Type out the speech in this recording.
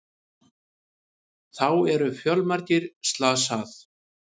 Þá eru fjölmargir slasað